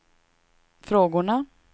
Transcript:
frågorna